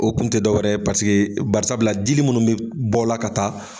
O kun te dɔ wɛrɛ ye bari sabula dili munnu be bɔla ka taa